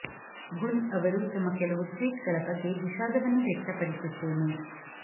ಗುನ್ ಅವರು ತಮ್ಮ ಕೆಲವು ಟ್ವೀಟ್ ಗಳ ಬಗ್ಗೆ ವಿಷಾದವನ್ನು ವ್ಯಕ್ತಪಡಿಸುತ್ತೇನೆ